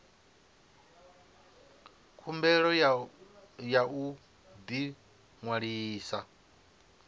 khumbelo ya u ḓi ṅwalisa